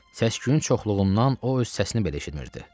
Səsküyün çoxluğundan o öz səsini belə eşitmirdi.